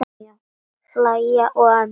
Hlæja og emja.